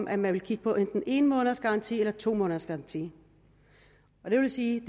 at man ville kigge på enten en måneds garanti eller to måneders garanti det vil sige